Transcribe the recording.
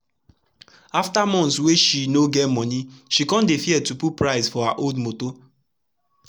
after months wey she no get moni she kon dey fear to put price for her old motor